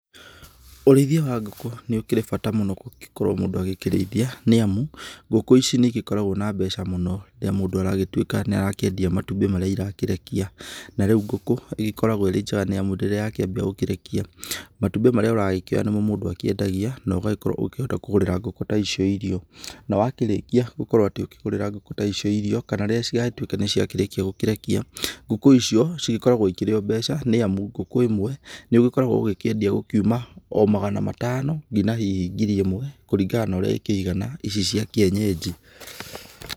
Ũrĩithia wa ngũkũ nĩ ũkĩrĩ bata mũno gũkorwo mũndũ agĩkĩrĩithia nĩ amu ngũkũ ici nĩ igĩkoragwo na mbeca mũno rĩrĩa mũndũ aragĩtuĩka nĩ arakĩendia matumbĩ marĩa irakĩrekia, na rĩu ngũkũ nĩ ĩkoragwo ĩkĩrĩ njega amu rĩrĩa yakĩambia gũkĩrekia, matumbĩ marĩa ũrakĩoya nĩmo mũndũ akĩendagia na ũgakĩhota gũkorwo ũkĩgũrĩra ngũkũ ta icio irio na wakĩrĩkia gũkorwo ũkĩgũrĩra ĩgũkũ ta icio irio, kana rĩrĩa ciatuĩka nĩciakĩrĩkia gũkĩrekia, ngũkũ icio nĩ cigĩkoragwo ikĩrĩ o mbeca nĩ amu ngũkũ ĩmwe nĩ ũgĩkoragwo ũkĩendia gũkiuma oma magana matano nginya hihi ngiri ĩmwe kũringana na ũrĩa cikĩigana ici cia kĩenyenji.